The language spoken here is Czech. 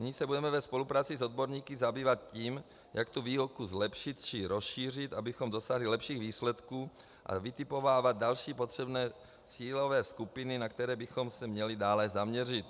Nyní se budeme ve spolupráci s odborníky zabývat tím, jak tu výuku zlepšit či rozšířit, abychom dosáhli lepších výsledků, a vytipovávat další potřebné cílové skupiny, na které bychom se měli dále zaměřit.